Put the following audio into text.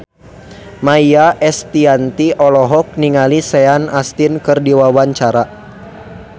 Maia Estianty olohok ningali Sean Astin keur diwawancara